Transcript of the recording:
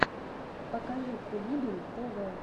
покажи кулибин тв